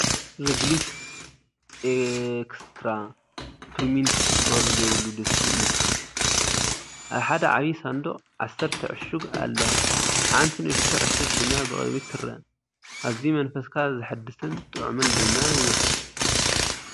ሪግሊስ ኤክስትራ ስፒርሚንት ሽኮር ዘይብሉ ድስቲ እዩ። ኣብ ሓደ ዓቢ ሳንዱቕ ዓሰርተ ዕሹግ ኣለዋ፣ ሓንቲ ንእሽቶ ዕሹግ ድማ ብቕድሚት ትርአ። ኣዝዩ መንፈስካ ዘሐድስን ጥዑምን ድማ ይመስል!